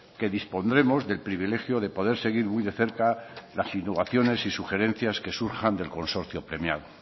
que dispondremos del privilegio de poder seguir muy de cerca las innovaciones y sugerencias que surjan del consorcio premiado